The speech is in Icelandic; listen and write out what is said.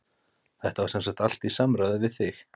Þetta var semsagt allt í samráði við þig?